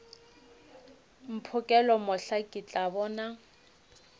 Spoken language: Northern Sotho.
mphokela mohla ke tla bona